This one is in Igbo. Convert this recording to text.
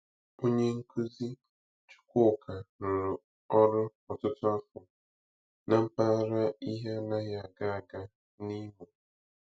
Onye nkuzi Chukwuka rụrụ ọrụ ọtụtụ afọ na mpaghara ihe anaghị aga aga n'Imo.